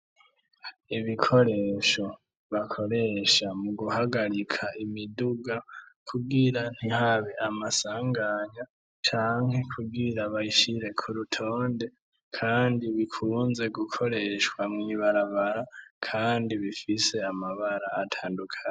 Ibikoresho bakoresha mu guhagarika imiduga kugira nihabe amasanganya canke kugira bayishire ku rutonde, kandi bikunze gukoreshwa mw'ibarabara, kandi bifise amabara atandukana.